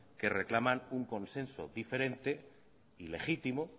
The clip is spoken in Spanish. que reclaman un consenso diferente ilegítimo